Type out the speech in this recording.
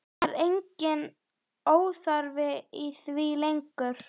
Það er enginn óþarfi í því lengur!